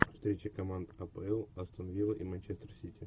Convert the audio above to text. встреча команд апл астон вилла и манчестер сити